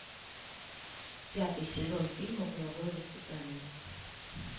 пятый сезон фильма половое воспитание